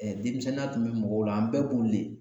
Ɛɛ denmisɛnninya tun be mɔgɔw la an bɛɛ b'u le